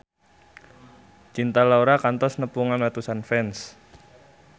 Cinta Laura kantos nepungan ratusan fans